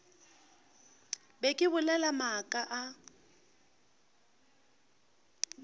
be ke bolela maaka a